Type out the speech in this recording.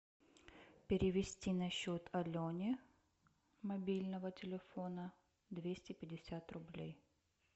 перевести на счет алене мобильного телефона двести пятьдесят рублей